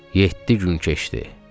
Yeddi gün keçdi.